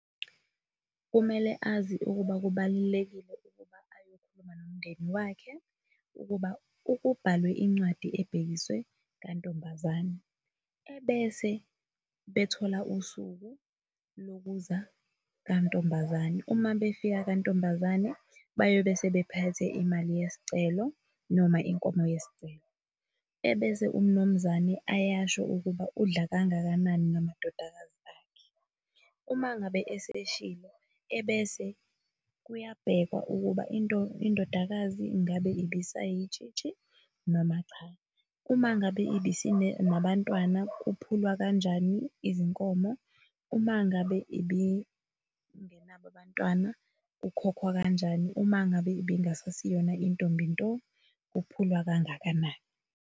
Kumele azi ukuba kubalulekile ukuba ayokhuluma nomndeni wakhe, ukuba kubhalwe incwadi ebhekiswe ka ntombazane, ebese bethola usuku lokuza ka ntombazane uma befika ka ntombazane bayobe sebephethe imali yesicelo noma inkomo yesicelo, ebese uMnumzane ayasho ukuba udla kangakanani ngamadodakazi akhe. Uma ngabe eseshilo ebese kuyabhekwa ukuba indodakazi ngabe ibisayitshitshi noma cha, uma ngabe ibisinabantwana kuphulwa kanjani izinkomo, uma ngabe ibingenabo abantwana, kukhokhwa kanjani, uma ngabe ibingasaseyona intombi nto, kuphulwa kangakanani.